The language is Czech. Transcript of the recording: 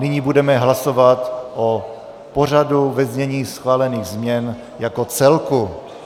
Nyní budeme hlasovat o pořadu ve znění schválených změn jako celku.